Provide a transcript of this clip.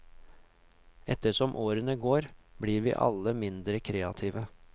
Etter som årene går, blir vi alle mindre kreative.